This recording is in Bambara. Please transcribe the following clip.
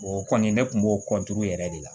O kɔni ne kun b'o yɛrɛ de la